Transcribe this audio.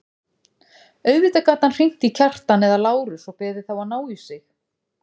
Auðvitað gat hann hringt í Kjartan eða Lárus og beðið þá að ná í sig.